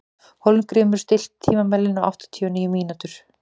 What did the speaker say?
Hólmgrímur, stilltu tímamælinn á áttatíu og níu mínútur.